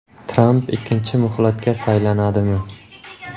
Tramp ikkinchi muhlatga saylanadimi?